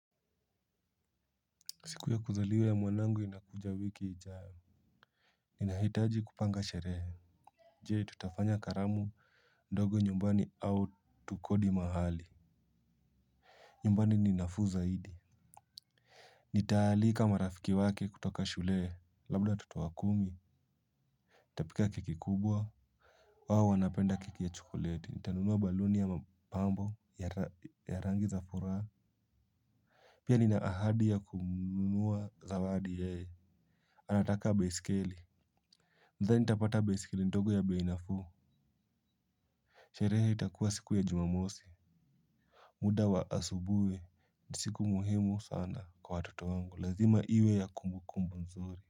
Siku ya kuzaliwa ya mwanangu inakuja wiki ijayo. Ninahitaji kupanga sherehe. Je tutafanya karamu ndogo nyumbani au tukodi mahali. Nyumbani ni nafuu zaidi. Nitaalika marafiki wake kutoka shule. Labda watoto kumi nitapika keki kubwa hao wanapenda keki ya chokoleti, nitanunua baluni ya mapambo ya rangi za furaha. Pia nina ahadi ya kumnunulia zawadi yeye. Anataka baiskeli. Nadhani nitapata baiskeli ndogo ya bei nafuu. Sherehe itakuwa siku ya Jumamosi. Muda wa asubuhi ni siku muhimu sana kwa watoto wangu lazima iwe ya kumbukumbu nzuri.